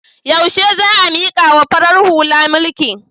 Yaushe za a mikawa farar hula mulki?